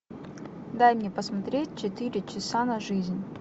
дай мне посмотреть четыре часа на жизнь